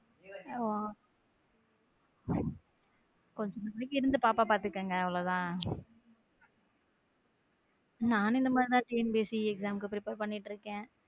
இப்போதிகி வீட்ல இருந்து பாப்பாவ பாத்துக்கங்க அவ்வளவுதான நானும் இந்த மாதிரி தான் டிஎன்பிஎஸ்சி exam க்கு prepare பண்ணிட்டு இருக்கேன்.